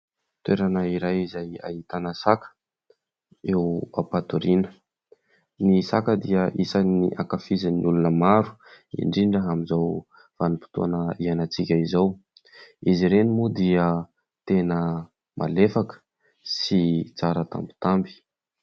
Toerana iray izay ahitana saka eo ampatoriana. Ny saka dia isan'ny hankafizin'ny olona maro indrindra amin'izao vanim-potoana iainantsika izao. Izy ireny moa dia tena malefaka sy tsara tambitamby.